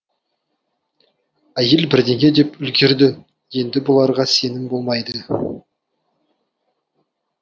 әйел бірдеңе деп үлгерді енді бұларға сеніп болмайды